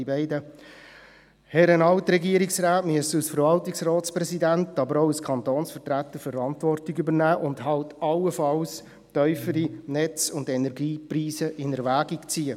Die beiden Herren Alt-Regierungsräte müssen als Verwaltungsratspräsident, aber auch als Kantonsvertreter Verantwortung übernehmen und halt allenfalls tiefere Netz- und Energiepreise in Erwägung ziehen.